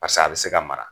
Pasi a bɛ se ka mara